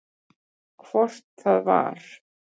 Hvort það var!